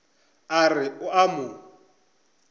a re o a mo